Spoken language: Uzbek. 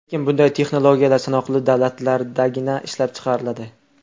Lekin bunday texnologiyalar sanoqli davlatlardagina ishlab chiqariladi.